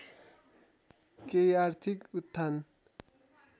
केही आर्थिक उत्थान